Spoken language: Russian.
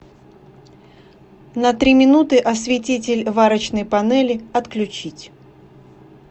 на три минуты осветитель варочной панели отключить